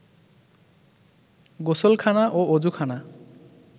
গোসলখানা ও অযুখানা